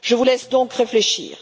Je vous laisse donc réfléchir.